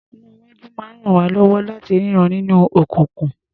Iná-iwájú máa ń ràn wá lọ́wọ́ láti rínran nínú òkùnkùn.